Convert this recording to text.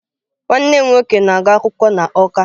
Nwanne m nwoke na-agu akwukwo na Awka